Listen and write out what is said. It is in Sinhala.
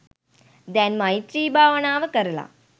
දැන් මෛත්‍රී භාවනාව කරලා